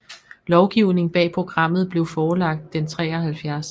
Lovgivningen bag programmet blev forelagt den 73